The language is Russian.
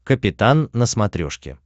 капитан на смотрешке